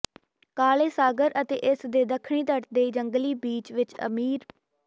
ਕਾਲੇ ਸਾਗਰ ਅਤੇ ਇਸ ਦੇ ਦੱਖਣੀ ਤੱਟ ਦੇ ਜੰਗਲੀ ਬੀਚ ਵਿੱਚ ਅਮੀਰ